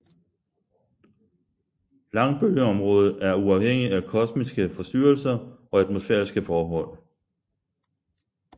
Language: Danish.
Langbølgeområdet er uafhængigt af kosmiske forstyrrelser og atmosfæriske forhold